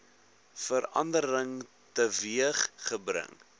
verandering teweeg gebring